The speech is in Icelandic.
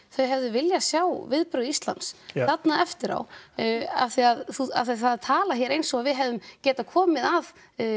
þau hefðu viljað sjá viðbrögð Íslands þarna eftir á af því að það er talað hér eins og við hefðum getað komið að